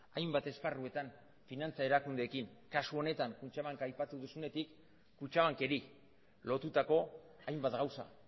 hainbat esparruetan finantza erakundeekin kasu honetan kutxabank aipatu duzunetik kutxabankeri lotutako hainbat gauza